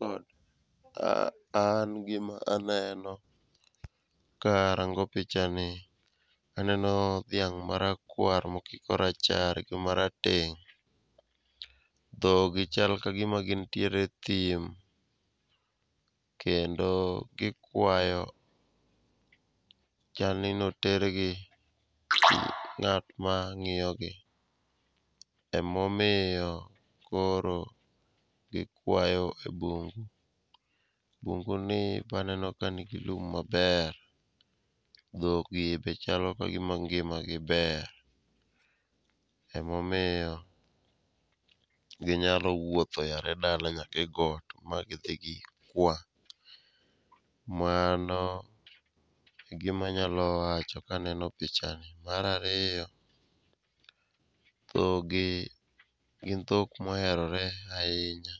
An gima aneno karango pichani, aneno dhiang' marakwar mokiko rachar gi marateng'. Dhogi chal ka gima gintiere e thim kendo gikwayo. Chalni notergi gi ng'at mang'iyogi emomiyo koro gikwayo e bungu. Bunguni be aneno ka nigi lum maber, dhogi be chalo ka gima ngimagi ber emomiyo ginyalo wuotho yare dala nyaka e got ma gidhi gikwa. Mano e gima anyalo wacho kaneno pichani. Mar ariyo, dhogi gin dhok moherore ahinya,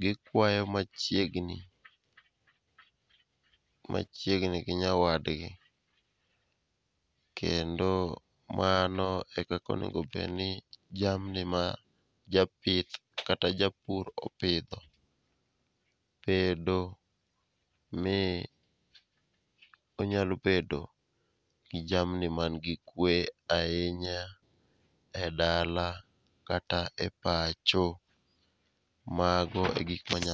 gikwayo machiegni, machiegni gi nyawadgi. Kendo mano e kaka onego obed ni jamni ma japith kata japur opidho bedo mi onyalo bedo gi kwee ahinya e dala kata e pacho. Mago e gik ma anyalo.